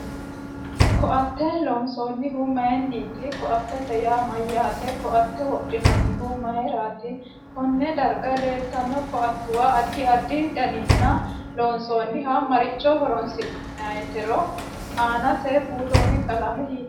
KO'ate loonsanihu mayiiniti ko'atete yaa mayaate ko'ate wodhinanihu mayiirati konne darga leeltanno ko'atuwa addi addi daninni loonsoonihu maricho horonsineeti aanase buuroni qalame hiitoote